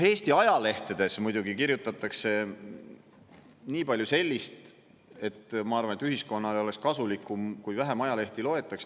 Eesti ajalehtedes muidugi kirjutatakse nii palju sellist, et ma arvan, et ühiskonnale oleks kasulikum, kui vähem ajalehti loetaks.